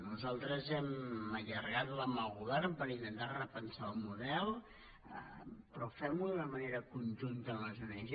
nosaltres hem allargat la mà al govern per intentar repensar el model però fem ho de manera conjunta amb les ong